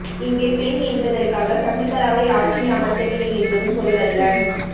இங்கே பெண் என்பதற்காக சசிகலாவை ஆட்சியில் அமர்த்தவில்லை என்பது பொருளல்ல